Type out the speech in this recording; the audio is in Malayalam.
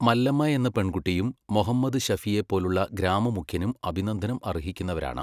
മല്ലമ്മയെന്ന പെണ്കുട്ടിയും മൊഹമ്മദ് ശഫീയെപ്പോലുള്ള ഗ്രാമ മുഖ്യനും അഭിനന്ദനം അര്ഹിക്കുന്നവരാണ്.